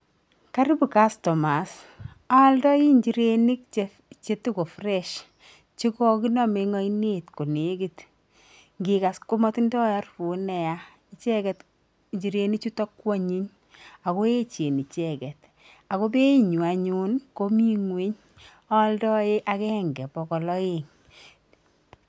Karibu kastomas, aaldai nchirenik chetoko fresh chokokiname eng ainet konekit. Ngikas komatindoi harufut neya, icheket nchirenik chuto ko anyiny ako echen icheket ako being'wai anyuun komi ngw'ony, aakdae agenge bokol aeng.